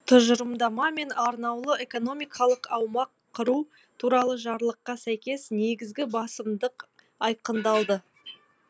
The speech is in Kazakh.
тұжырымдама мен арнаулы экономикалық аймақ құру туралы жарлыққа сәйкес негізгі басымдық айқындалды